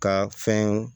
Ka fɛn